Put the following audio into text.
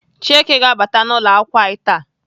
Chieke ga-abata n'ụlọakwụkwọ anyị taa.